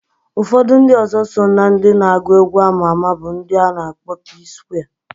Ufodu ndi ọzọ so na ndi na agu egwu ama ama bu ndi ana akpo Psquare.